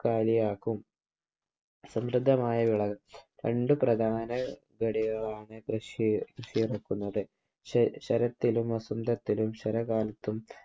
കാലിയാക്കും. സമൃദമായ വിള രണ്ടു പ്രദാന വിളകളാണ് കൃഷി ഇറക്കുന്നത്. ശരത്തിലും വസന്തത്തിലും ശരകാലത്തും